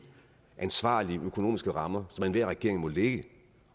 ansvarlige økonomiske rammer som enhver regering må lægge